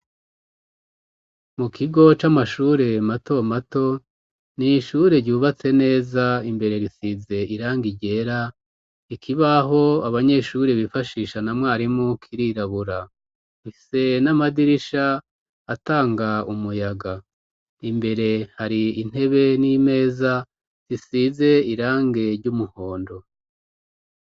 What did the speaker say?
Mu kigo c'amashure mato mato, n'ishure ryubatse neza imbere risize irangi ryera, ikibaho abanyeshuri bifashisha na mwarimu kirirabura, rifise n'amadirisha atanga umuyaga, imbere hari intebe n'imeza risize irangi ry'umuhondo.